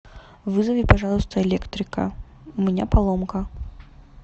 вызови пожалуйста электрика у меня поломка